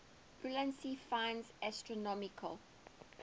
ulansey finds astronomical